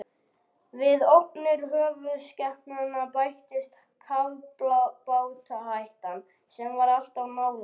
Við ógnir höfuðskepnanna bættist kafbátahættan, sem var alltaf nálæg.